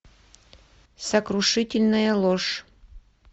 сокрушительная ложь